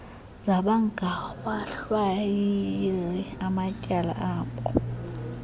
zabangawahlawuli amatyala abo